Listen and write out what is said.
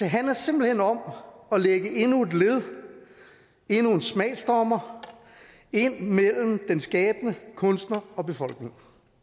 handler simpelt hen om at lægge endnu et led endnu en smagsdommer ind mellem den skabende kunstner og befolkningen